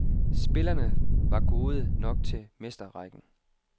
Spillerne var gode nok til mesterrækken.